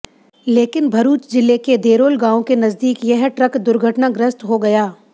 लेकिन भरूच जिले के देरोल गाँव के नज़दीक यह ट्रक दुर्घटनाग्रस्त हो गया